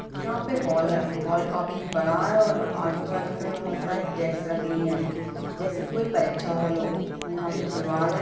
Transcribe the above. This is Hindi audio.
यह हॉल है हॉल काफी बड़ा है और आजू-बाजू मे बहुत सारी डेस्क रखी हुई है जैसे की कोई परीक्षा हॉल हो और यहाँ पर एक दीवार है।